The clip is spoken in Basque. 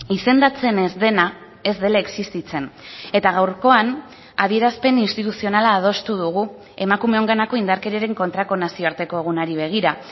izendatzen ez dena ez dela existitzen eta gaurkoan adierazpen instituzionala adostu dugu emakumeenganako indarkeriaren kontrako nazioarteko egunari begira